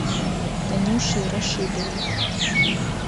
танюшей рашидовой